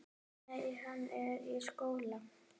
Nei, hann er í skóla.